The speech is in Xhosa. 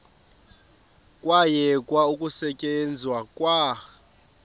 kwayekwa ukusetyenzwa kwa